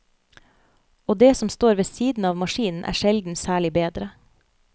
Og det som står ved siden av maskinen er sjelden særlig bedre.